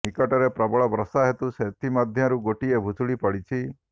ନିକଟରେ ପ୍ରବଳ ବର୍ଷା ହେତୁ ସେଥିମଧ୍ୟରୁ ଗୋଟିଏ ଭୁଶୁଡି ପଡିଛି